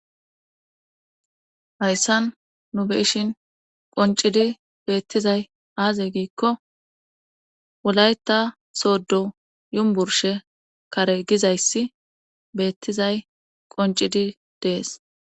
Hayssan nu beishin qoncidi beettizay aaze giikko wulayta sooddo yumburshe kare gizayssi beettizay qoncidi dees.